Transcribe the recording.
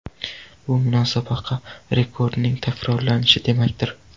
Bu musobaqa rekordining takrorlanishi demakdir.